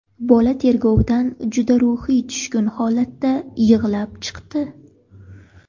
Bola tergovdan juda ruhiy tushkun holatda yig‘lab chiqdi.